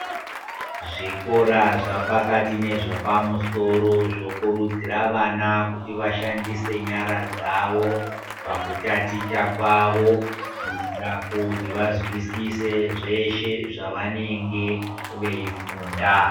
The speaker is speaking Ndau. Zvikora zva pakati nezve pa musoro zvo kurudzira vana kuti vashandise nyara dzavo paku taticha kwavo kuitira kuti va zwisise zveshe zvavanenge vei funda.